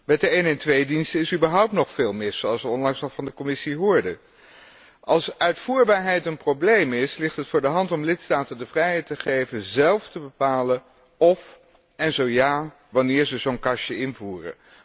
Met de 112 diensten is überhaupt nog veel mis, zoals wij onlangs nog van de Commissie hoorden. Als uitvoerbaarheid een probleem is, ligt het voor de hand om de lidstaten de vrijheid te geven zelf te bepalen of en zo ja, wanneer zij zo´n kastje invoeren.